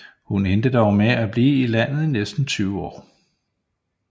Hun endte dog med at blive i landet i næsten 20 år